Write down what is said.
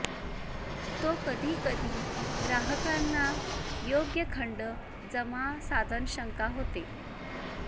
तो कधी कधी ग्राहकांना योग्य खंड जमा साधन शंका होते